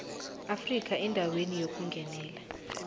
afrika endaweni yokungenela